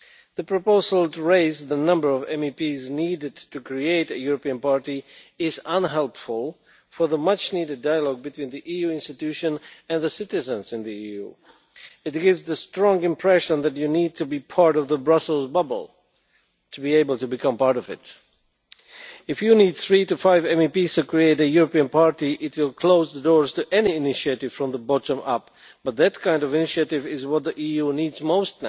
The proposal raising the number of MEPs needed to create a European party is unhelpful for the much needed dialogue between the EU institutions and citizens in the EU. It gives a strong impression that you need to be inside the Brussels bubble in order to become part of it. If you need three to five MEPs to create a European party, that will close the door to any initiative from the bottom up, the kind of initiative that the EU now needs most.